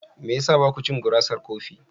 Me ya sa ba ku cin gurasar kofi?